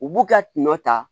U b'u ka tinɔ ta